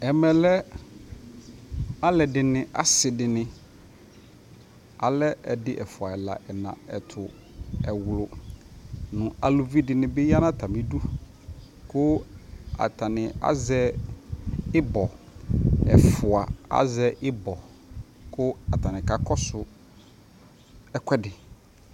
Ɛmɛ lɛ alɛdi ni asidi ni, alɛ ɛdi ɛfua ɛla ɛna ɛtʋ ɛwlʋ nʋ alʋvi dini ya nʋ atami udu kʋ atani azɛ ibɔ ɛfua, azɛ ibɔ kʋ atani kakɔsu ɛkuɛdi